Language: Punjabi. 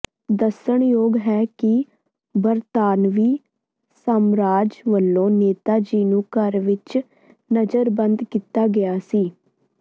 ਦੱਸਣਯੋਗ ਹੈ ਕਿ ਬਰਤਾਨਵੀ ਸਾਮਰਾਜ ਵੱਲੋਂ ਨੇਤਾ ਜੀ ਨੂੰ ਘਰ ਵਿੱਚ ਨਜ਼ਰਬੰਦ ਕੀਤਾ ਗਿਆ ਸੀ